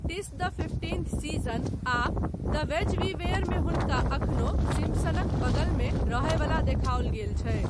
टिस द fifteenth season ' आ 'the ways we where ' मे हुनका एखनो सिम्पसनक बगलमे रहय वला देखाओल गेल छै।